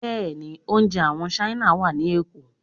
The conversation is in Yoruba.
Bẹ́ẹ̀ni, oúnjẹ àwọn Ṣáínà wà ní Èkó.